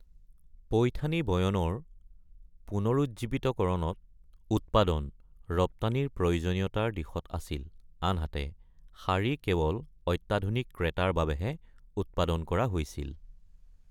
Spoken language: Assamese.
পৈথানী বয়নৰ পুনৰুজ্জীৱিতকৰণত উৎপাদন ৰপ্তানিৰ প্ৰয়োজনীয়তাৰ দিশত আছিল আনহাতে শাৰী কেৱল অত্যাধুনিক ক্ৰেতাৰ বাবেহে উৎপাদন কৰা হৈছিল।